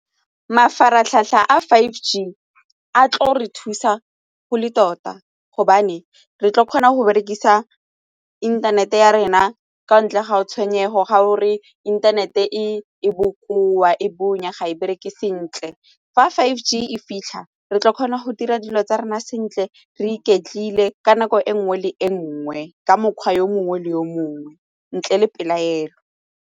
Mafaratlhatlha a five G a tlo re thusa go le tota gobane re tlo kgona go berekisa inthanete ya rena ka ntle ga go tshwenyego ga o re inthanete e bokoa e bonya ga e bereke sentle fa five G e fitlha re tla kgona go dira dilo tsa rona sentle re iketlile ka nako e nngwe le e nngwe ka mokgwa yo mongwe le yo mongwe ntle le pelaelo.